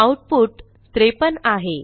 output 53 आहे